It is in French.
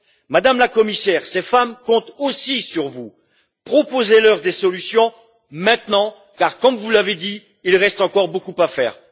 Madame la Commissaire, ces femmes comptent aussi sur vous. Proposez leur des solutions maintenant, car comme vous l'avez dit, il reste encore beaucoup à faire.